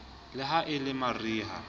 le ha e le mariha